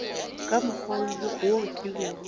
ka mokgwa wo ke bego